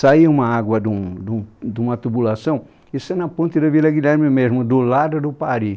Saiu uma água de um de um de uma tubulação, isso é na ponte da Vila Guilherme mesmo, do lado do Pari